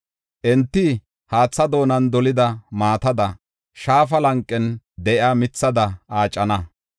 Enti haatha doonan dolida maatada, shaafa lanqen de7iya mithada aacana.